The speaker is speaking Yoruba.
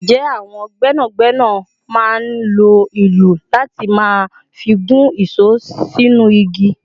Ǹjẹ́ àwọn gbẹ́nàgbẹ́nà máa ń lo òòlù láti máa fi gún ìṣó sínú igi?